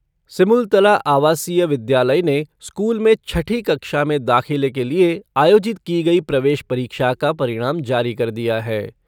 सिमुलतला आवासीय विद्यालय ने स्कूल में छठी कक्षा में दाखिले के लिये आयोजित की गयी प्रवेश परीक्षा का परिणाम जारी कर दिया है।